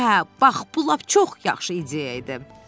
Hə, bax bu lap çox yaxşı ideya idi.